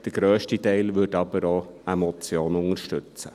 Der grösste Teil würde aber auch eine Motion unterstützen.